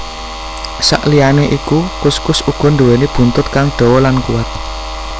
Saliyané iku kuskus uga nduwéni buntut kang dawa lan kuwat